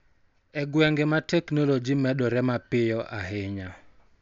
E gwenge ma teknoloji medore mapiyo ahinya.